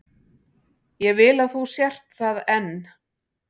Ég vil að þú sért það enn.